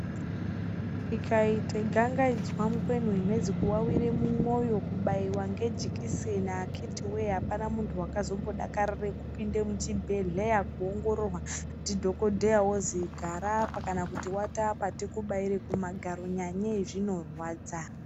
Ikaite gangaidzwa mukweni wemhezi kuwawirw mumwoyo kubaiwe ngejikiseni akiti wee apana muntj wakazombodakarire kupinde muchibhedhleya Kuongotorwa ndidhokodheya ozi gara apa kana kuti wata apa tikubaire kumagaro Nyanyei zvinorwadza.